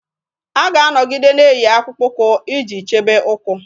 A ga-anọgide na-eyi akpụkpọ ụkwụ iji chebe ụkwụ.